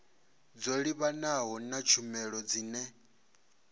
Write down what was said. dzo livhanaho na tshumelo dzine